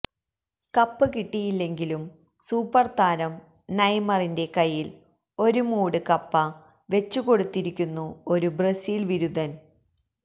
cup കിട്ടിയില്ലെങ്കിലും സൂപ്പര്താരം നെയ്മറിന്റെ കയ്യില് ഒരു മൂട് കപ്പ വെച്ചുകൊടുത്തിരിക്കുന്നു ഒരു ബ്രസീല് വിരുദ്ധന്